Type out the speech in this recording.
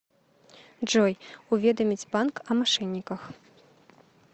джой уведомить банк о мошенниках